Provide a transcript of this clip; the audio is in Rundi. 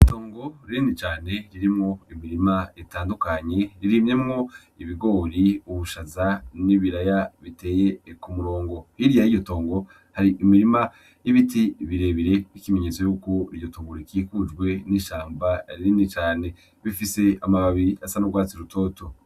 Itongo rinini cane ririmwo imirima itandukanye irimyemwo ibigori, ubushaza n' ibiraya biteye ku murongo, hirya yiryo tongo hari imirima y' ibiti bire bire n' ikimenyetso yuko iryo tongo rikikujwe n' ishamba rinini cane, bifise amababi asa n' ugwatsi rutoto.